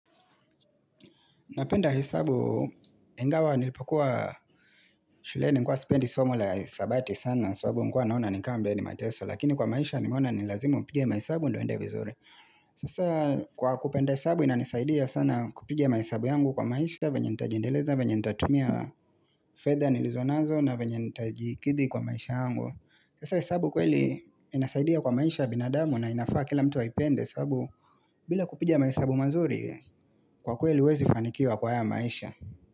Napenda hesabu, ingawa nilipokuwa shuleni nilikuwa spendi somo la hesabati sana, sababu nikuwa naona ni kama ambae ni mateso, lakini kwa maisha nimona ni lazima upigie mahasabu ndo uendee vizuri. Sasa kwa kupenda hesabu inanisaidia sana kupiga mahasabu yangu kwa maisha, venye nitajindeleza, venye nitatumia fedha nilizonazo na venye nitajikidi kwa maisha yangu. Sasa hesabu kweli inasaidia kwa maisha ya binadamu na inafaa kila mtu aipende sababu bila kupiga mahasabu mazuri kwa kweli huwezi fanikiwa kwa haya maisha.